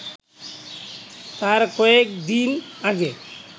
তার কয়েকদিন আগে